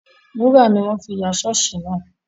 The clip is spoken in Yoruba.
Wúrà ni wọ́n fi ya ṣọ́ọ̀ṣì náà